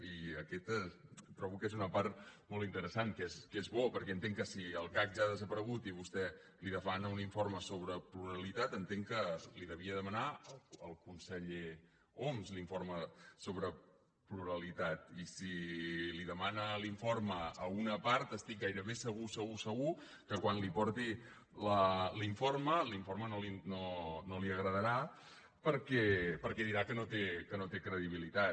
i aquesta trobo que és una part molt interessant que és bo perquè entenc que si el cac ja ha desaparegut i vostè li demana un informe sobre pluralitat entenc que li devia demanar al conseller homs l’informe sobre pluralitat i si li demana l’informe a una part estic gairebé segur segur segur que quan li porti l’informe l’informe no li agradarà perquè dirà que no té credibilitat